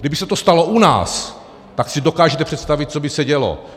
Kdyby se to stalo u nás, tak si dokážete představit, co by se dělo.